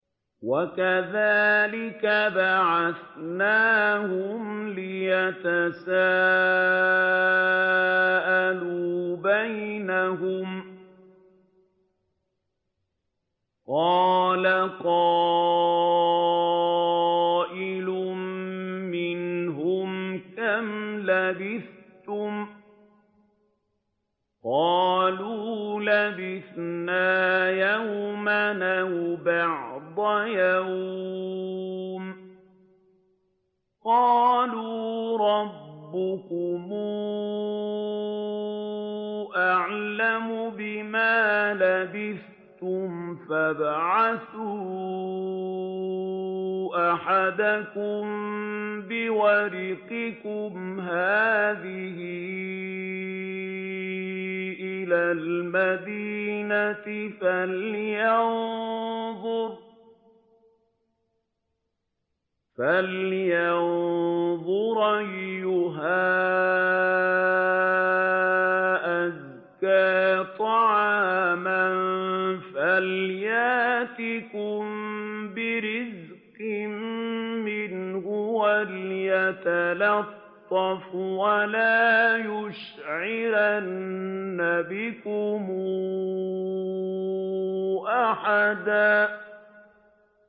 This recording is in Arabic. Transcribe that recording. وَكَذَٰلِكَ بَعَثْنَاهُمْ لِيَتَسَاءَلُوا بَيْنَهُمْ ۚ قَالَ قَائِلٌ مِّنْهُمْ كَمْ لَبِثْتُمْ ۖ قَالُوا لَبِثْنَا يَوْمًا أَوْ بَعْضَ يَوْمٍ ۚ قَالُوا رَبُّكُمْ أَعْلَمُ بِمَا لَبِثْتُمْ فَابْعَثُوا أَحَدَكُم بِوَرِقِكُمْ هَٰذِهِ إِلَى الْمَدِينَةِ فَلْيَنظُرْ أَيُّهَا أَزْكَىٰ طَعَامًا فَلْيَأْتِكُم بِرِزْقٍ مِّنْهُ وَلْيَتَلَطَّفْ وَلَا يُشْعِرَنَّ بِكُمْ أَحَدًا